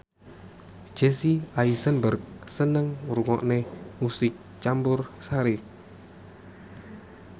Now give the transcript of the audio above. Jesse Eisenberg seneng ngrungokne musik campursari